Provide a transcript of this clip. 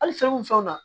Hali fɛn o fɛn na